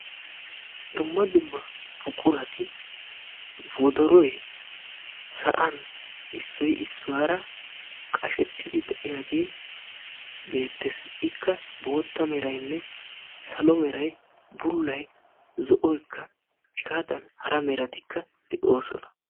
Dumma dumma buqurati wodoroy sa'an issoy issuwara qashsttidi diyaagee beetees. Ikka bootta meraynne salo meray, bullay zo'oykka hegaadan hara meratikka de'oosona.